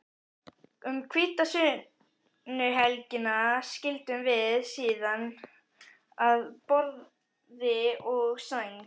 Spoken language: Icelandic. Um hvítasunnuhelgina skildum við síðan að borði og sæng.